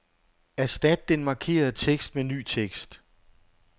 Erstat den markerede tekst med ny tekst.